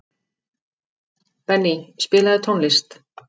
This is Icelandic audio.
Benný, spilaðu tónlist.